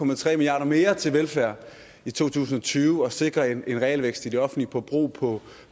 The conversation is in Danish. milliard kroner mere til velfærd i to tusind og tyve og sikrer en en realvækst i det offentlige forbrug på